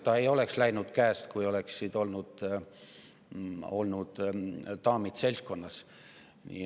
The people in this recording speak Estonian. Ta ei oleks läinud käest, kui daamid oleksid olnud seltskonnas.